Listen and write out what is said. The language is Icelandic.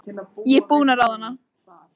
Ég er búin að ráða hana!